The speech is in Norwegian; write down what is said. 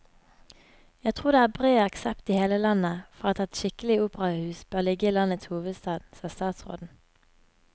Jeg tror det er bred aksept i hele landet for at et skikkelig operahus bør ligge i landets hovedstad, sa statsråden.